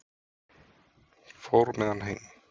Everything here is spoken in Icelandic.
Fór með hann heim.